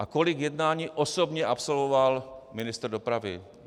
A kolik jednání osobně absolvoval ministr dopravy?